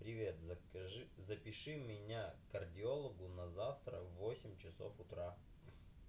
привет закажи запиши меня к кардиологу на завтра в восемь часов утра